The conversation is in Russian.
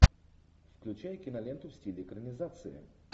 включай киноленту в стиле экранизации